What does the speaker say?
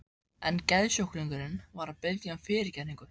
En geðsjúklingurinn var að biðja um fyrirgefningu.